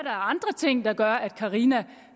er andre ting der gør at carina